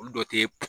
Olu dɔ te